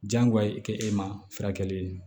Jagoyaye kɛ e ma furakɛli ye